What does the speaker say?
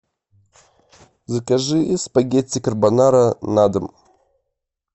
закажи спагетти карбонара на дом